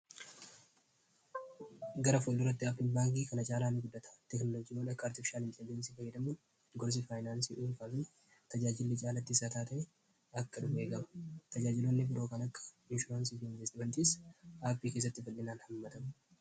gara folduratti aapinbaankii kana chaalaa mi guddata teknolojiwoon akka artifishaal intelleensii fayyadamuun gorsii faayinaansii dulfaafii tajaajilli caalatti isaa taata akkadu eegama tajaajiloonni birookan akka inshuraansii fi investimentiis aappii keessatti fal'inaan hammatam